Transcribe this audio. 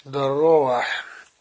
здорово